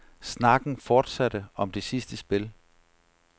Snakken fortsatte om det sidste spil.